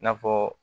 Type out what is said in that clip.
I n'a fɔ